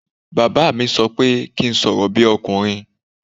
Bàbá mi sọ pé kí n sọ̀rọ̀ bí ọkùnrin